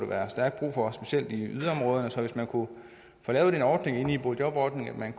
være stærkt brug for specielt i yderområderne så hvis man kunne få lavet den ordning i boligjobordningen at